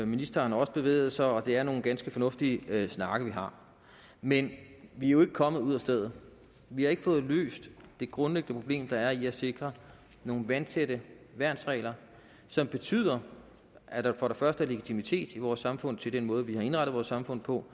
ministeren har også bevæget sig og det er nogle ganske fornuftige snakke vi har men vi er jo ikke kommet ud af stedet vi har ikke fået løst det grundlæggende problem der er i at sikre nogle vandtætte værnsregler som betyder at der for det første er legitimitet i vores samfund til den måde vi har indrettet vores samfund på